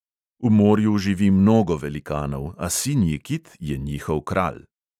V morju živi mnogo velikanov, a sinji kit je njihov kralj.